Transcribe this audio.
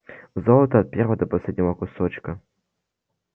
золото от первого до последнего кусочка